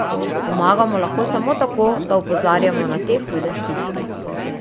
Pomagamo lahko samo tako, da opozarjamo na te hude stiske.